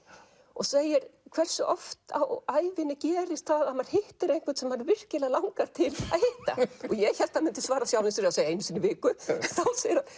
og segir hversu oft á ævinni gerist það að maður hittir einhvern sem mann virkilega langar til að hitta ég hélt að hann myndi svara sjálfum sér og segja einu sinni í viku þá segir hann